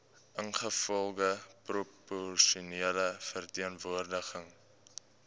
ingevolge proporsionele verteenwoordiging